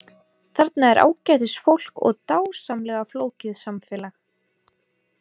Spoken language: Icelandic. Þarna er ágætis fólk og dásamlega flókið samfélag.